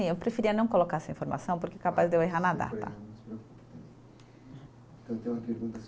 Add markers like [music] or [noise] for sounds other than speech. Eu preferia não colocar essa informação porque é capaz de eu errar na data. [unintelligible] Eu tenho uma pergunta